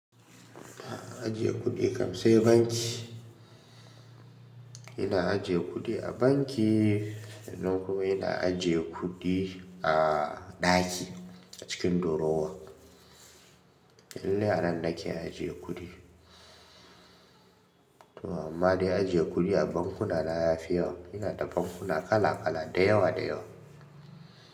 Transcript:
Ajiye kuɗi kamsai banki. Ina ajiye kuɗi a banki, sannan kuma ina ajiye kuɗi a ɗaki a cikin drawer. Iallai a nan nake ajiye kuɗi. Toh amma dai ajiye kuɗi a bankuna na yafi yawa. Ina da bankuna kala kala da yawa da yawa.